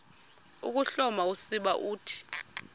ukuhloma usiba uthi